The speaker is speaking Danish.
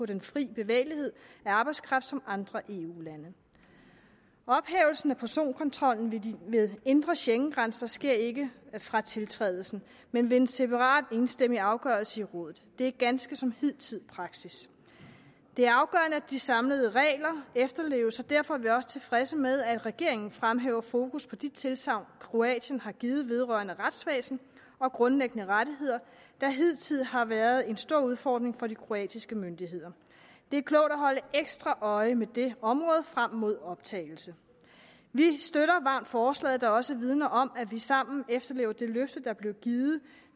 den fri bevægelighed af arbejdskraft som andre eu lande ophævelsen af personkontrollen ved indre schengengrænser sker ikke fra tiltrædelsen men ved en separat og enstemmig afgørelse i rådet det er ganske som hidtidig praksis det er afgørende at de samlede regler efterleves og derfor er vi også tilfredse med at regeringen fremhæver fokus på de tilsagn kroatien har givet vedrørende retsvæsen og grundlæggende rettigheder der hidtil har været en stor udfordring for de kroatiske myndigheder det er klogt at holde ekstra øje med det område frem mod optagelsen vi støtter varmt forslaget der også vidner om at vi sammen efterlever det løfte der blev givet